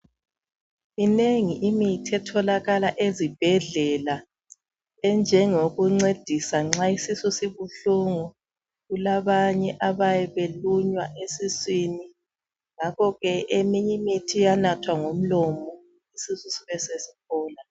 Minengi imithi etholakala ezibhedlela enjengokuncedisa nxa isisu sibuhlungu kulabanye abayabe belunywa esiswini ngakho ke eminye imithi iyanathwa ngomlomo isisu sibe sesiphola.